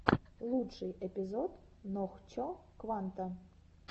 лучший эпизод нохчо кванта